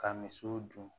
Ka misiw dun